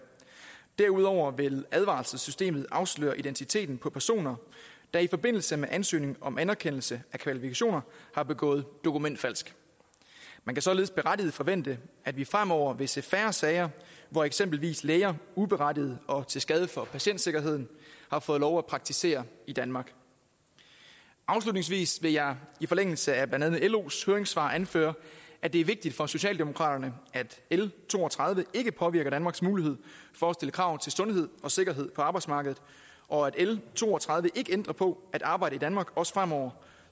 derudover vil advarselssystemet afsløre identiteten på personer der i forbindelse med ansøgning om anerkendelse af kvalifikationer har begået dokumentfalsk man kan således berettiget forvente at vi fremover vil se færre sager hvor eksempelvis læger uberettiget og til skade for patientsikkerheden har fået lov at praktisere i danmark afslutningsvis vil jeg i forlængelse af blandt andet los høringssvar anføre at det er vigtigt for socialdemokraterne at l to og tredive ikke påvirker danmarks mulighed for at stille krav til sundhed og sikkerhed på arbejdsmarkedet og at l to og tredive ikke ændrer på at arbejde i danmark også fremover